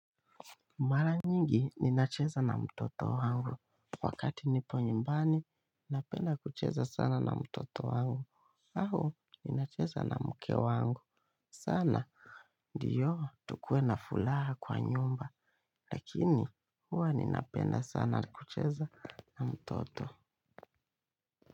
Mara nyingi ninacheza na mtoto wangu wakati nipo nyumbani ninapenda kucheza sana na mtoto wangu. Au ninacheza na mke wangu sana. Ndiyo tukue na fulaha kwa nyumba lakini huwa ninapenda sana kucheza na mtoto.